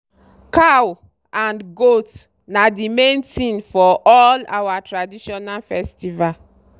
cow and goat na the main thing for all our tradition festival.